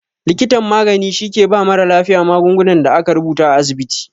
Likitan magani shi ke ba mara lafiya magungunan da aka rubuta a asibiti